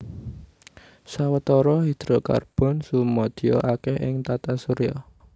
Sawatara hidrokarbon sumadya akèh ing tata surya